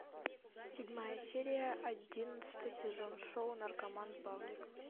седьмая серия одиннадцатый сезон шоу наркоман павлик